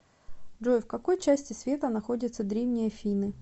джой в какой части света находится древние афины